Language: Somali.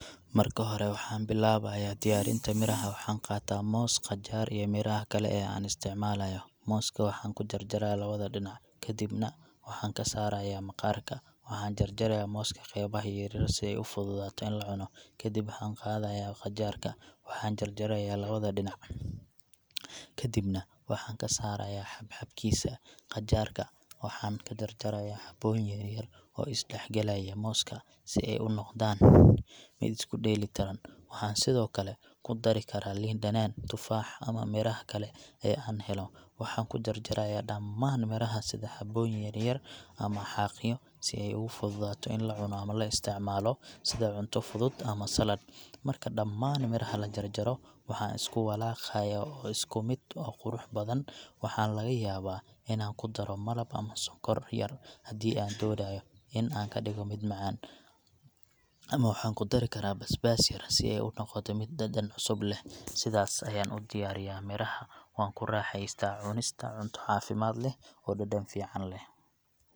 Marka hore, waxaan bilaabayaa diyaarinta miraha. Waxaan qaataa moos, qajaar, iyo miraha kale ee aan isticmaalayo. Mooska waxaan ka jarjaraa labada dhinac, kadibna waxaan ka saarayaa maqaarka. Waxaan jarjaraa mooska qeybaha yar-yar si ay u fududaato in la cuno. Kadib, waxaan qaadaya qajaarka, waxaan jarjaraya labada dhinac, kadibna waxaan ka saaraya xab-xabkiisa. Qajaar-ka waxaan ka jarjaraya xabooyin yar-yar oo is dhexgalaya mooska si ay u noqdaan mid isku dheellitiran. Waxaan sidoo kale ku dari karaa liin dhanaan, tufaax, ama miraha kale ee aan helo. Waxaan ku jarjaraya dhammaan miraha sidii xabooyin yaryar ama xaaqyo si ay ugu fududaato in la cuno ama loo isticmaalo sida cunto fudud ama saladh. Marka dhammaan miraha la jarjaro, waxaan isku walaaqaa si isku mid ah oo qurux badan. Waxaa laga yaabaa inaan ku daro malab ama sonkor yar haddii aan doonayo in aan ka dhigo mid macaan, ama waxaan ku dari karaa basbaas yar si ay u noqoto mid dhadhan cusub leh. Sidaas ayaan u diyaariyaa miraha, waxaana ku raaxaystaa cunista cunto caafimaad leh oo dhadhan fiican leh.